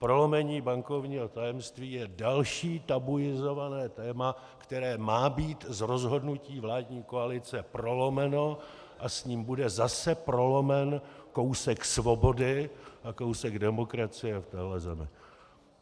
Prolomení bankovního tajemství je další tabuizované téma, které má být z rozhodnutí vládní koalice prolomeno, a s ním bude zase prolomen kousek svobody a kousek demokracie v téhle zemi.